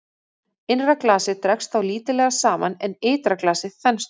Innra glasið dregst þá lítillega saman en ytra glasið þenst út.